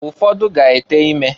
Ụfọdụ ga-ete ime.